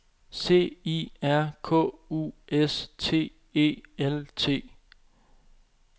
C I R K U S T E L T